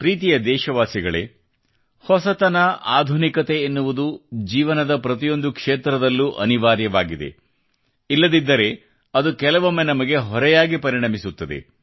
ಪ್ರೀತಿಯ ದೇಶವಾಸಿಗಳೇ ಹೊಸತನ ಆಧುನಿಕತೆ ಎನ್ನುವುದು ಜೀವನದ ಪ್ರತಿಯೊಂದು ಕ್ಷೇತ್ರದಲ್ಲೂ ಅನಿವಾರ್ಯವಾಗಿದೆ ಇಲ್ಲದಿದ್ದರೆ ಅದು ಕೆಲವೊಮ್ಮೆ ನಮಗೆ ಹೊರೆಯಾಗಿ ಪರಿಣಮಿಸುತ್ತದೆ